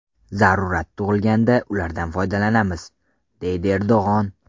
Zarurat tug‘ilganida ulardan foydalanamiz”, deydi Erdo‘g‘on.